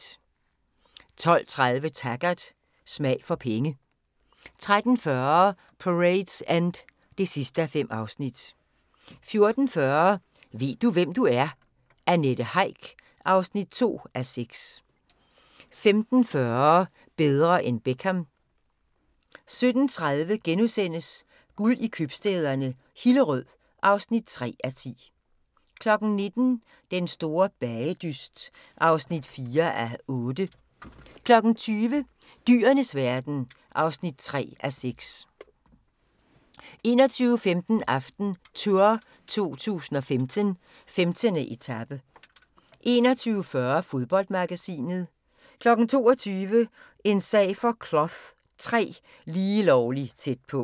12:30: Taggart: Smag for penge 13:40: Parade's End (5:5) 14:40: Ved du, hvem du er? - Annette Heick (2:6) 15:40: Bedre end Beckham 17:30: Guld i købstæderne - Hillerød (3:10)* 19:00: Den store bagedyst (4:8) 20:00: Dyrenes verden (3:6) 21:15: AftenTour 2015: 15. etape 21:40: Fodboldmagasinet 22:00: En sag for Cloth III: Lige lovlig tæt på